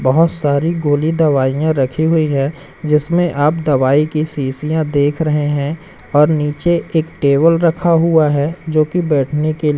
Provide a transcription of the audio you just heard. बहुत सारी गोली दवाइयां रखी हुई हैं जिसमें आप दवाई की शीशियां देख रहे हैं और नीचे एक टेबल रखा हुआ है जो कि बैठने के--